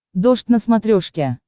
дождь на смотрешке